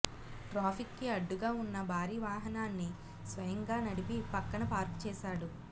traffic కి అడ్డుగా ఉన్న భారీ వాహనాన్ని స్వయంగా నడిపి పక్కన పార్క్ చేసాడు